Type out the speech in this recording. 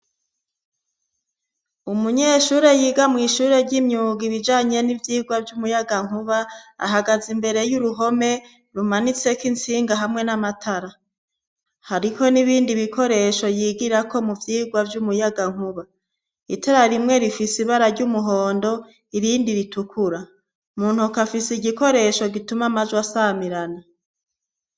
Umunyeshure yiga mw' ishure ry'imyuga ibijanye n'ivyirwa vy'umuyagankuba ahagaze imbere y'uruhome, rumanitseko intsinga hamwe n'amatara. hariho n'ibindi bikoresho yigirako mu vyirwa vy'umuyagankuba : itara rimwe rifise ibara ry'umuhondo irindi ritukura; mu ntoke afise igikoresho gituma amajwi asamirana.